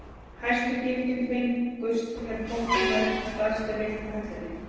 Hæstu gildin fengust ef potturinn var ekki staðsettur rétt á hellunni.